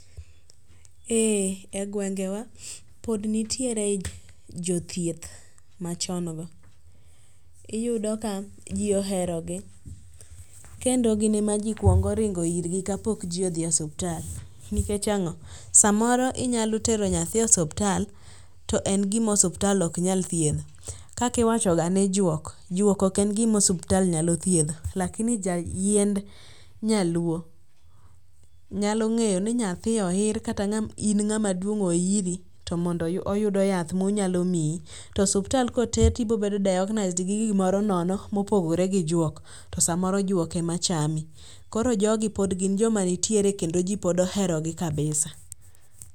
Ee e gwengewa, pod nitiere jo thietjh ma chon go. Iyudo ka jji ohero gi kendo gin ema ji kuongo ringo irgi ka pod gi dhi e osiptal. Nikech ang'o? Saa moro inyalo tero nyathi e ospiptal to en gi ma osiptal ok nyal thiedho. Kaka iwacho ga nji juok, juok ok en gi ma osiptal nyalo thiedho lakini ja yiend nyaluo nyalo ng'eyo ni nyathi oir kata in ng'ama duong' oiri to oyudo yath ma onyalo miyi. To osiptal ka oter ti ibiro bedo diagnosed gi gi moro nono ma opogore gi juok, to sa moro juok ema chami. Koro jo gi pod nitie kendo ji ohero gi kabisa.